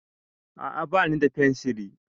A'a bani da fensiri